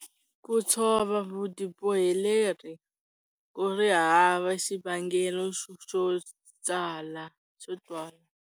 Ku tshova vutiboheleri ku ri hava xivangelo xo twala.